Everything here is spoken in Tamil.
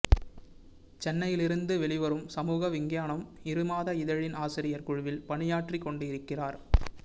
சென்னையிலிருந்து வெளிவரும் சமூக விஞ்ஞானம் இருமாத இதழின் ஆசிரியர் குழுவில் பணியாற்றிக் கொண்டிருக்கிறார்